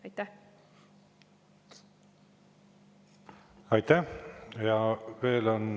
Aitäh!